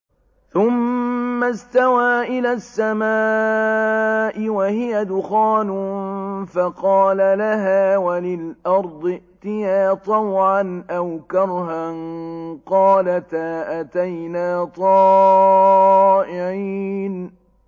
ثُمَّ اسْتَوَىٰ إِلَى السَّمَاءِ وَهِيَ دُخَانٌ فَقَالَ لَهَا وَلِلْأَرْضِ ائْتِيَا طَوْعًا أَوْ كَرْهًا قَالَتَا أَتَيْنَا طَائِعِينَ